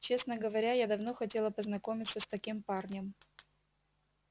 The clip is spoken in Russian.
честно говоря я давно хотела познакомиться с таким парнем